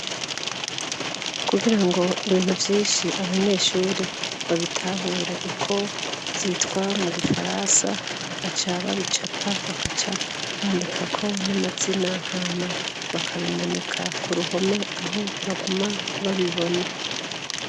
kugira ngo ibintu vyinshi abanyeshure babitahure ,uko vyitwa mu gifaransa ,baca babicapa bakaca bandikako n'amazina hama bakabimanika kuruhome aho baguma babibona.